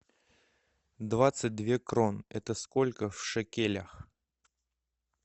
двадцать две крон это сколько в шекелях